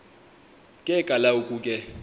ke kaloku ke